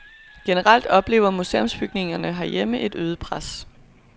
Generelt oplever museumsbygningerne herhjemme et øget pres.